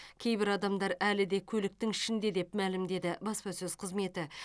кейбір адамдар әлі де көліктің ішінде деп мәлімдеді баспасөз қызметі